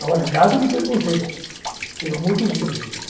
Agora, nada de preconceito, pelo amor dos deuses, gente.